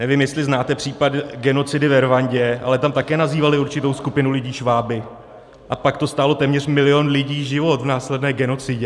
Nevím, jestli znáte případ genocidy ve Rwandě, ale tam také nazývali určitou skupinu lidí šváby, a pak to stálo téměř milion lidí život v následné genocidě.